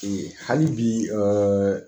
hali bi